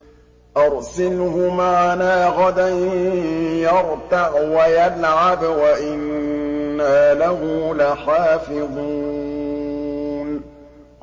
أَرْسِلْهُ مَعَنَا غَدًا يَرْتَعْ وَيَلْعَبْ وَإِنَّا لَهُ لَحَافِظُونَ